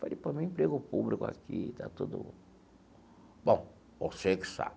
Falei, pô, arrumei um emprego público aqui está tudo... Bom, você que sabe.